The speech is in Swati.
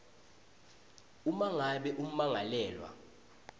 uma ngabe ummangalelwa